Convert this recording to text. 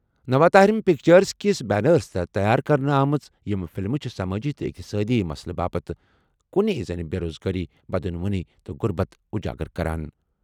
نوا طاہرم پکچرز کِس بینرَس تحت تیار کرنہٕ آمژٕ یِم فلمہٕ چھِ سمٲجی تہٕ اقتصٲدی مسلہٕ باپتھ کٔنی زَن بےروزگاری، بدعنوانی تہٕ غربت اجاگر کران۔